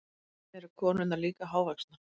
Eru konurnar líka hávaxnar?